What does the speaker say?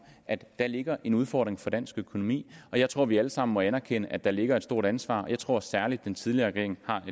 at der ligger en udfordring for dansk økonomi og jeg tror at vi alle sammen må anerkende at der ligger et stort ansvar og jeg tror særligt at den tidligere regering